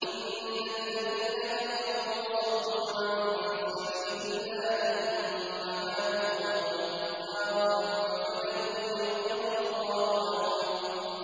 إِنَّ الَّذِينَ كَفَرُوا وَصَدُّوا عَن سَبِيلِ اللَّهِ ثُمَّ مَاتُوا وَهُمْ كُفَّارٌ فَلَن يَغْفِرَ اللَّهُ لَهُمْ